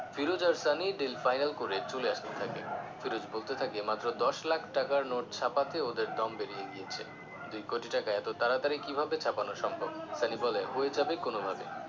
ফিরোজ আর Sunny deal final করে চলে আসতে থাকে ফিরোজ বলতে থাকে মাত্র দশ লাখ টাকার নোট ছাপাতে ওদের দম বেরিয়ে গেছে দুই কোটি টাকা এত তাড়াতাড়ি কিভাবে ছাপানো সম্ভব সানি বলে হয়ে যাবে কোন ভাবে